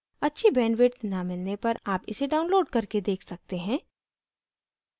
अच्छी bandwidth न मिलने पर आप इसे download करके देख सकते हैं